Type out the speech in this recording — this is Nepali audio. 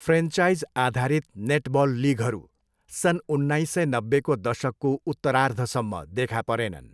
फ्रेन्चाइजआधारित नेटबल लिगहरू सन् उन्नाइस सय नब्बेको दशकको उत्तरार्धसम्म देखा परेनन्।